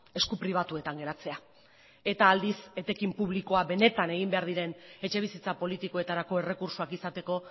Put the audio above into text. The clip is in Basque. esku pribatuetan geratzea eta aldiz etekin publikoa benetan egin behar diren etxebizitza politikoetarako errekurtsoak izateko